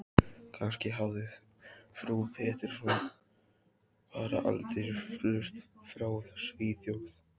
Kannski hafði frú Pettersson bara aldrei flust frá Svíþjóð.